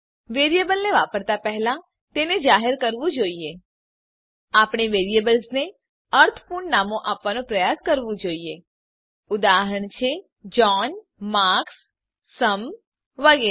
variable ને વાપરતા પહેલા તેને જાહેર કરવું જોઈએ આપણે વેરિએબલ્સ ને અર્થપૂર્ણ નામો આપવાનો પ્રયાસ કરવું જોઈએ ઉદાહરણ છે જોન માર્ક્સ સુમ વગેરે